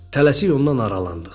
Tələsik ondan aralandıq.